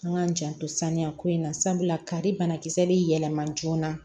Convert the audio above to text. An k'an janto saniya ko in na sabula kari banakisɛ bɛ yɛlɛma joona